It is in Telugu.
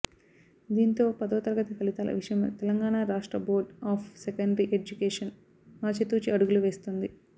దీంతో పదో తరగతి ఫలితాల విషయంలో తెలంగాణ రాష్ట్ర బోర్డ్ ఆఫ్ సెకండరీ ఎడ్యుకేషన్ ఆచితూచి అడుగులు వేస్తోంది